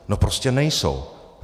No prostě nejsou.